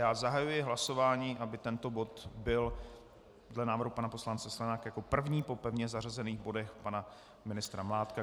Já zahajuji hlasování, aby tento bod byl dle návrhu pana poslance Sklenáka jako první po pevně zařazených bodech pana ministra Mládka.